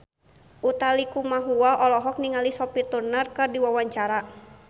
Utha Likumahua olohok ningali Sophie Turner keur diwawancara